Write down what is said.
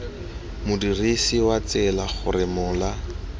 modirisi wa tsela gore mola